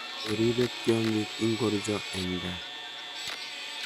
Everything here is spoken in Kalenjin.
Oriipe tyonng'ink ngircho eng gaa?